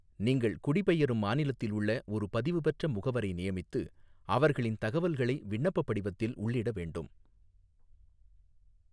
நீங்கள் குடிபெயரும் மாநிலத்தில் உள்ள ஒரு பதிவுபெற்ற முகவரை நியமித்து, அவர்களின் தகவல்களை விண்ணப்பப் படிவத்தில் உள்ளிட வேண்டும்.